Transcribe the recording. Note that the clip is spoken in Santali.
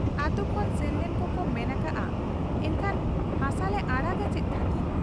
ᱟᱹᱛᱩ ᱠᱷᱚᱱ ᱥᱮᱱᱞᱮᱱ ᱠᱚᱠᱚ ᱢᱮᱱ ᱟᱠᱟᱜ ᱟ ᱮᱱᱠᱷᱟᱱ ᱦᱟᱥᱟᱞᱮ ᱟᱲᱟᱜᱟ ᱪᱮᱫ ᱠᱷᱟᱹᱛᱤᱨ ?